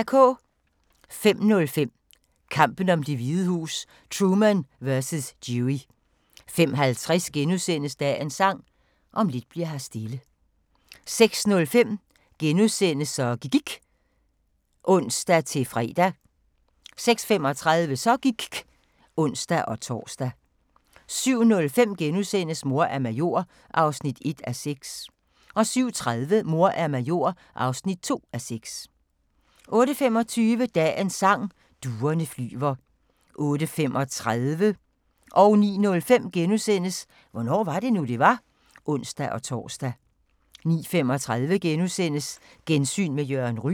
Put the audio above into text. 05:05: Kampen om Det Hvide Hus: Truman vs. Dewey 05:50: Dagens Sang: Om lidt bli'r her stille * 06:05: Så gIKK' *(ons-fre) 06:35: Så gIKK' (ons-tor) 07:05: Mor er major (1:6)* 07:30: Mor er major (2:6) 08:25: Dagens Sang: Duerne flyver 08:35: Hvornår var det nu, det var? *(ons-tor) 09:05: Hvornår var det nu, det var? *(ons-tor) 09:35: Gensyn med Jørgen Ryg *